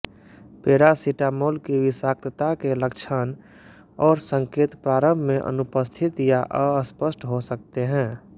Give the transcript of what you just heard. paracetamol की विषाक्तता के लक्षण और संकेत प्रारम्भ में अनुपस्थित या असपष्ट हो सकते हैं